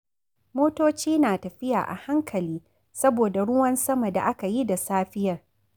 Motoci na tafiya a hankali saboda ruwan sama da aka yi da safiyar.